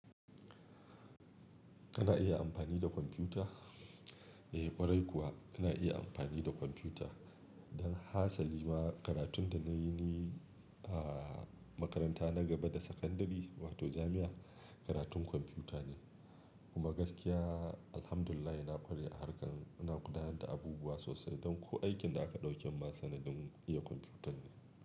Kana iya amfani da kwamfuta? Eh ƙwarai kuwa, kana iya amfani da kwamfuta. Don hasali ma karatun da nayi ne a makaranta na gaba da sakandare wato jami'a karatun kwamfuta ne. Kuma gaskiya alhamdulillah na ƙware a harkan, ina gudanar da abubuwa sosai don ko aikin da aka ɗauke masa naɗin iya kwamfuta ne.